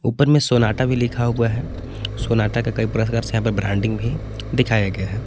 ऊपर में सोनाटा भी लिखा हुआ है सोनाटा का कई प्रकार से यहां पे ब्रांडिंग भी दिखाया गया है।